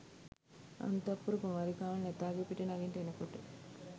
අන්තඃපුර කුමාරිකාවන් ඇතාගේ පිටේ නගින්නට එනකොට